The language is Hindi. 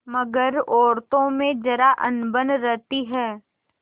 मगर औरतों में जरा अनबन रहती है